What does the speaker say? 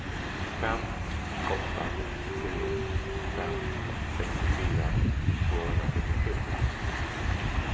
fem åtta tre fem sextiofyra tvåhundrasjuttiosju